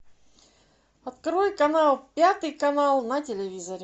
открой канал пятый канал на телевизоре